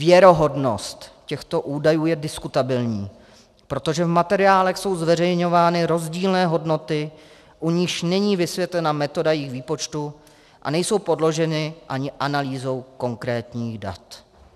Věrohodnost těchto údajů je diskutabilní, protože v materiálech jsou zveřejňovány rozdílné hodnoty, u nichž není vysvětlena metoda jejich výpočtu a nejsou podloženy ani analýzou konkrétních dat."